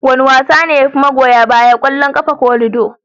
Wane wasa ne yafi magoya baya, kwallon kafa ko lido?